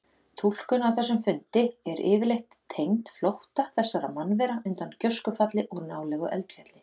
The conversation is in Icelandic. Túlkun á þessum fundi er yfirleitt tengd flótta þessara mannvera undan gjóskufalli úr nálægu eldfjalli.